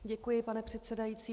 Děkuji, pane předsedající.